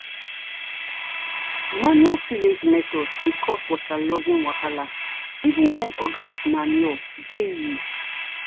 manual tillage method fit cause waterlogging wahala even when organic manure dey used.